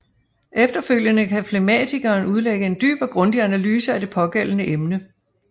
Efterfølgende kan flegmatikeren udlægge en dyb og grundig analyse af det pågældende emne